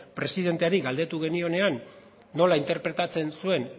presidenteari galdetu genionean nola interpretatzen zuen